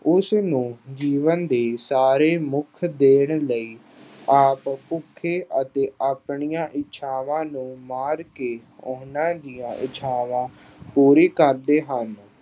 ਉਸ ਨੂੰ ਜੀਵਨ ਦੇ ਸਾਰੇ ਸੁੱਖ ਦੇਣ ਲਈ ਆਪ ਭੁੱਖੇ ਅਤੇ ਆਪਣੀਆਂ ਇੱਛਾਵਾਂ ਨੂੰ ਮਾਰ ਕੇ ਉਹਨਾਂ ਦੀਆਂ ਇੱਛਾਵਾਂ ਪੂਰੀ ਕਰਦੇ ਹਨ।